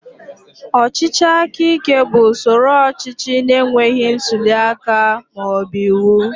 Ọchịchị aka ike bụ usoro ọchịchị na-enweghị ntuli aka ma ọ bụ iwu.